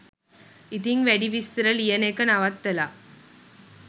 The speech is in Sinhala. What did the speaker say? ඉතිං වැඩි විස්තර ලියන එක නවත්තලා